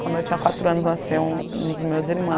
Quando eu tinha quatro anos, nasceu um dos meus